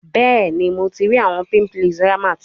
Bẹẹni, Mo ti ri awọn pimples Rahmat